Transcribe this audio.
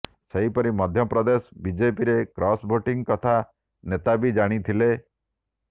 ସେହିପରି ମଧ୍ୟପ୍ରଦେଶ ବିଜେପିରେ cross voting କଥା ନେତା ବି ଜାଣି ଥିଲେ